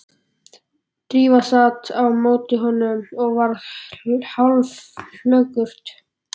Drífa sat á móti honum og varð hálfflökurt.